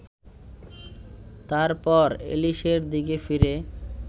তারপর এলিসের দিকে ফিরে